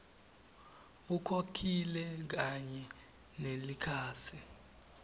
ukhokhile kanye nelikhasi